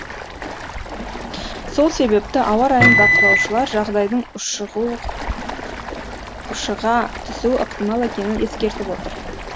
сол себепті ауа райын бақылаушылар жағдайдың ушыға түсуі ықтимал екенін ескертіп отыр